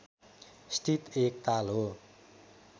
स्थित एक ताल हो